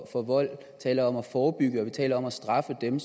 for vold vi taler om at forebygge vold og vi taler om at straffe dem